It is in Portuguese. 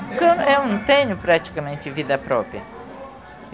Porque eu, é eu não tenho praticamente vida própria.